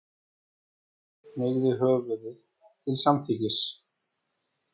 Marteinn hneigði höfðið til samþykkis.